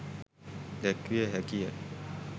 දැක්විය හැකිය.